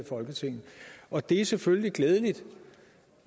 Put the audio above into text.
i folketinget og det er selvfølgelig glædeligt